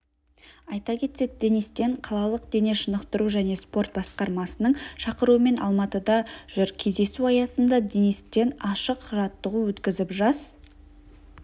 айта кетсек денис тен қалалық дене шынықтыру және спорт басқармасының шақыруымен алматыда жүр кездесу аясында денис тен ашық жаттығу өткізіп жас